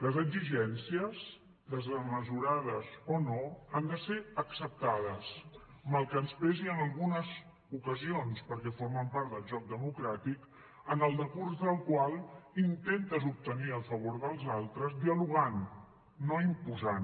les exigències desmesurades o no han de ser acceptades mal que ens pesi en algunes ocasions perquè formen part del joc democràtic en el decurs del qual intentes obtenir el favor dels altres dialogant no imposant